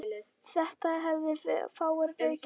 Þetta hefðu fáir leikið eftir.